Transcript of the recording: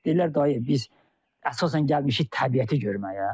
Deyirlər dayı, biz əsasən gəlmişik təbiəti görməyə.